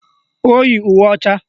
O yi uwe ọcha